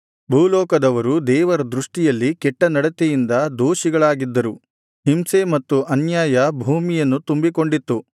ಭೂಲೋಕದವರು ದೇವರ ದೃಷ್ಟಿಯಲ್ಲಿ ಕೆಟ್ಟ ನಡತೆಯಿಂದ ದೋಷಿಗಳಾಗಿದ್ದರು ಹಿಂಸೆ ಮತ್ತು ಅನ್ಯಾಯ ಭೂಮಿಯನ್ನು ತುಂಬಿಕೊಂಡಿತ್ತು